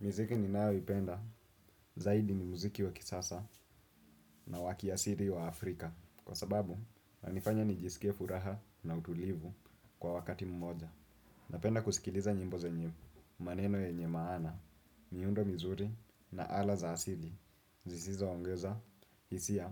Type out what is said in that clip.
Miziki ni nayo ipenda zaidi ni muziki wa kisasa na waki asiri wa Afrika. Kwa sababu, na nifanya ni jisike furaha na utulivu kwa wakati mmoja. Napenda kusikiliza nyimbo zenye maneno yenye maana, miundo mizuri na ala za asiri. Zisizo ongeza, hisia